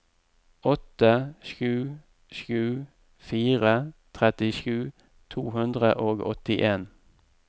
åtte sju sju fire trettisju to hundre og åttien